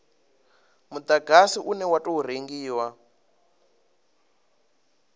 mudagasi une wa tou rengiwa